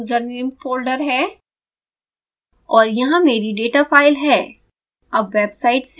यहाँ मेरे username a folder है और यहाँ मेरी डेटा फाइल है